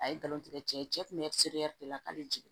A ye galon tigɛ cɛ ye cɛ kun bɛ de la k'ale jigin